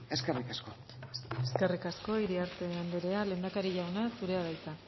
eskerrik asko eskerrik asko iriarte andrea lehendakari jauna zurea da hitza